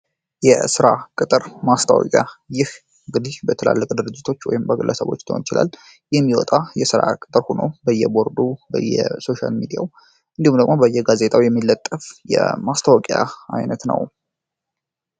የስራ ቅጥር ማስታወቂያ ይህ እንግዲህ በትላልቅ ድርጅቶች ወይም በግለሰቦች ሊሆን ይችላል የሚወጣ የስራ ቅጥር ሆኖ በየቦርዱ በየሶሻል ሚድያው እንዲሁም ደግሞ በየጋዜጠው የሚለጠፍ የማስታወቂያ አይነት ነው።